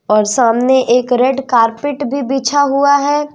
और सामने एक रेड कारपीट भी बिछा हुआ है।